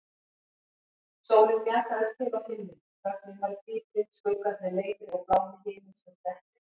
Sólin mjakaðist til á himninum, þögnin varð dýpri, skuggarnir lengri og blámi himinsins dekkri.